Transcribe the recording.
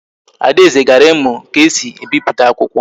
Adaeze gara imu ka esi e biputa akwukwo